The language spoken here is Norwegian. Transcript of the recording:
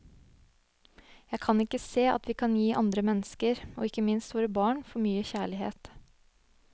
Jeg kan ikke se at vi kan gi andre mennesker, og ikke minst våre barn, for mye kjærlighet.